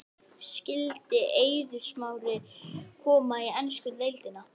Skyldi Eiður Smári koma í ensku deildina?